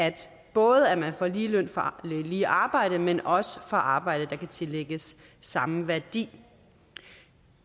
både at man får lige løn for lige arbejde men også for arbejde der kan tillægges samme værdi